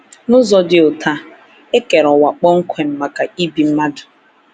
N’ụzọ dị otú a, e kere ụwa kpọmkwem maka ibi mmadụ.